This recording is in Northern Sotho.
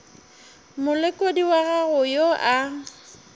molekodi wa gago yo a